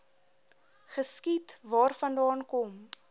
geskiet waarvandaan kom